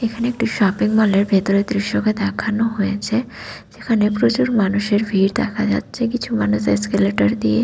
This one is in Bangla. এখানে একটু শপিং মল -এর ভেতরের দৃশ্য কে দেখানো হয়েছে যেখানে প্রচুর মানুষের ভিড় দেখা যাচ্ছে কিছু মানুষ এসকেলেটর দিয়ে --